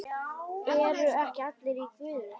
ERU EKKI ALLIR Í GUÐI?